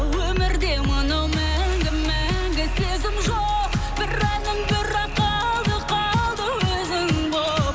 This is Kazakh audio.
өмірде мынау мәңгі мәңгі сезім жоқ бір әнім бірақ қалды қалды өзің боп